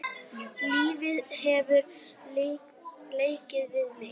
Lífið hefur leikið við mig.